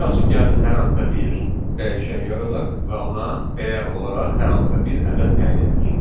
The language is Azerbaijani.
Misal üçün gəlin hər hansısa bir dəyişən yaradaq və ona dəyər olaraq hər hansısa bir ədəd təyin edək.